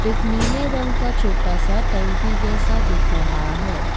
एक नीले रंग का छोटा सा टैंकी जैसा दिख रहा है।